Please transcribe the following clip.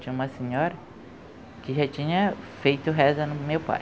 Tinha uma senhora que já tinha feito reza no meu pai.